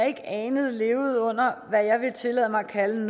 ikke anede lever under hvad jeg vil tillade mig at kalde